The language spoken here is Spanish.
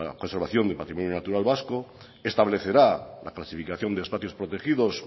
conservación del patrimonio natural vasco establecerá la clasificación de espacios protegidos